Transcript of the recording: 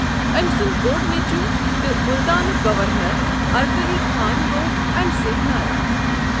ٲمۍ سنٛد بوٚڑ نچوُو تہٕ مُلتانُک گورنر ارکلی خان گو٘ امہِ سٕتۍ ناراض ۔